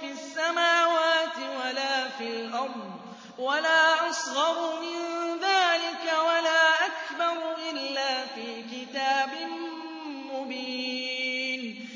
فِي السَّمَاوَاتِ وَلَا فِي الْأَرْضِ وَلَا أَصْغَرُ مِن ذَٰلِكَ وَلَا أَكْبَرُ إِلَّا فِي كِتَابٍ مُّبِينٍ